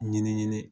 Ɲini